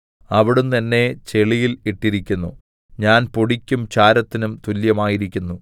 അവിടുന്ന് എന്നെ ചെളിയിൽ ഇട്ടിരിക്കുന്നു ഞാൻ പൊടിക്കും ചാരത്തിനും തുല്യമായിരിക്കുന്നു